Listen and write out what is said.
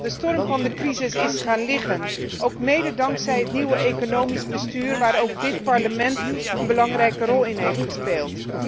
De storm van de crisis is gaan liggen, ook mede dankzij het nieuwe economisch bestuur waar ook dit Parlement een belangrijke rol in heeft gespeeld.